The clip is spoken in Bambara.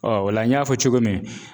o la n y'a fɔ cogo min